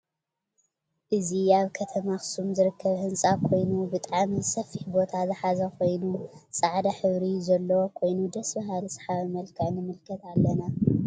አዚ አብ አብ ከተማ አክሱም ዝርከብ ህንፃ ኮይኑ ብጣዕሚ ሰፊሕ ቦታ ዝሓዘ ኮይኑ ፃዕዳ ሕብሪ ዘለዉ ኮይኑ ደስ በሃሊ ሰሓቢ መልክዕ ንምልከት አለና::